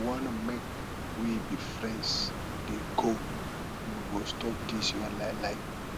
if you wan make we be friends dey go you go stop dis your lielie